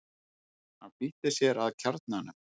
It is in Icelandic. Hann flýtti sér að kjarnanum.